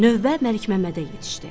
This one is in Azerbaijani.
Növbə Məlikməmmədə yetişdi.